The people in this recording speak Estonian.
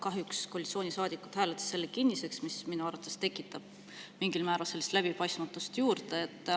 Kahjuks koalitsioonisaadikud hääletasid selle kinniseks, mis minu arvates tekitab mingil määral läbipaistmatust juurde.